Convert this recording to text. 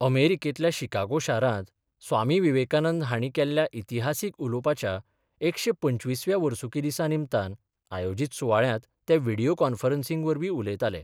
अमेरीकेंतल्या Chicago शारात स्वामी विवेकानंद हांणी केल्ल्या इतीहासीक उलोवपाच्या एकशे पंचवीसव्या वर्सुकी दिसा निमतान आयोजित सुवाळ्यात तें विडीयो कॉन्फरन्सिंगवरवी उलयताले.